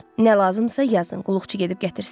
Nə lazımdısa yazın, qulluqçu gedib gətirsin.